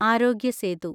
ആരോഗ്യ സേതു